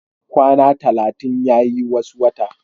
Kwana talatin yayi wasu wata